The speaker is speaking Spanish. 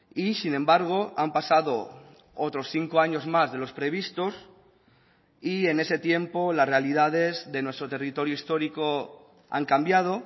y sin embargo han pasado otros cinco años más de los previstos y en ese tiempo las realidades de nuestro territorio histórico han cambiado